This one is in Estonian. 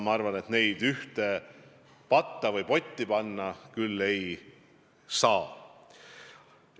Minu arust neid juhtumeid ühte patta panna küll ei saa.